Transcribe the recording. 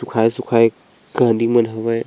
सुखाये-सुखाये कांदी मन हावय।